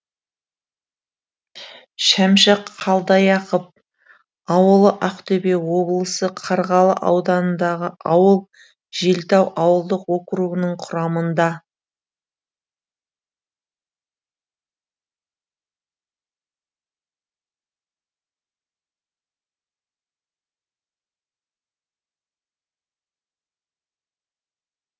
шәмші қалдаяқов ауылы ақтөбе облысы қарғалы ауданындағы ауыл желтау ауылдық округінің құрамында